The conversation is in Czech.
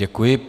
Děkuji.